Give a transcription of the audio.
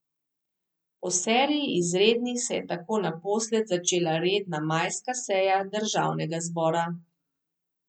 Po seriji izrednih se je tako naposled začela redna majska seja državnega zbora.